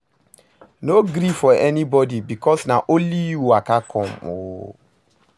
No gree for anybodi bikos na only yu waka com o